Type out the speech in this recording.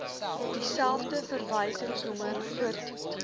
dieselfde verwysingsnommer voortduur